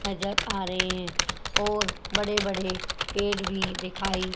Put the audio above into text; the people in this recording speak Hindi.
नजर आ रहे हैं और बड़े बड़े पेड़ भी दिखाई--